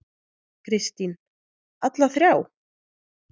Kristín: Alla þrjá?